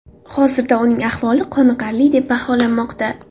Hozirda uning ahvoli qoniqarli deb baholanmoqda.